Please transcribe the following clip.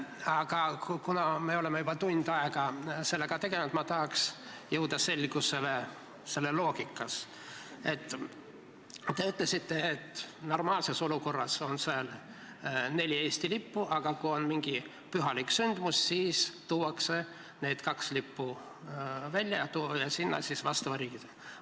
Aga kuna me oleme juba tund aega sellega tegelenud, siis ma tahaks jõuda selgusele selles loogikas: te ütlesite, et normaalses olukorras on seal neli Eesti lippu, aga kui on mingi pühalik sündmus, siis tuuakse kaks lippu välja ja sinna viiakse vastava riigi omad.